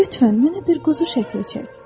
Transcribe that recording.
Lütfən mənə bir quzu şəkli çək.